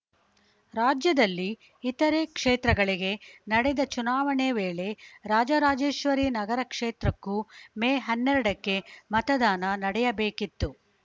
ರಾಜ್ಯದಲ್ಲಿ ಇತರೆ ಕ್ಷೇತ್ರಗಳಿಗೆ ನಡೆದ ಚುನಾವಣೆ ವೇಳೆ ರಾಜರಾಜೇಶ್ವರಿ ನಗರ ಕ್ಷೇತ್ರಕ್ಕೂ ಮೇ ಹನ್ನೆರಡಕ್ಕೆ ಮತದಾನ ನಡೆಯಬೇಕಿತ್ತು